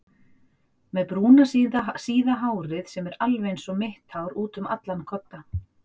Með brúna síða hárið sem er alveg einsog mitt hár útum allan kodda.